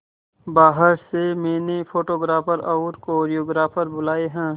बाहर से मैंने फोटोग्राफर और कोरियोग्राफर बुलाये है